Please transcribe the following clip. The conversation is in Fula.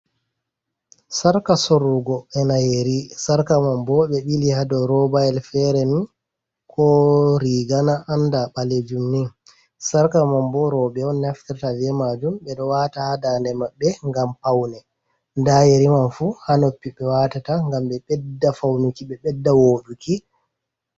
Sarka soorugo, ena yeri. Sarka man bo ɓe ɓili haa dou robayel fere ni, ko riga na annda ɓelejum ni. Sarka man bo rowɓe on naftirta be majum. Ɓe ɗo waata haa dande maɓɓe ngam paune. Nda yeri man fu haa noppi ɓe watata ngam ɓe ɓedda faunuki, ɓe ɓedda wooɗuki.